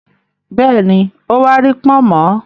Bẹ́ẹ̀ni, ó wa rí “pọ̀nmọ́”.